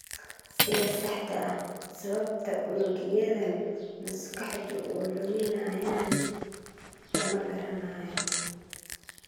Sida saxda ah sababta unugyadan maskaxdu u luminayaan lama garanayo.